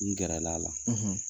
N gɛrɛl'a la.